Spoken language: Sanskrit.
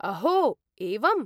अहो, एवम्?